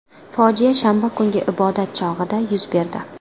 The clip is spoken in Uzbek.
Fojia shanba kungi ibodat chog‘ida yuz berdi.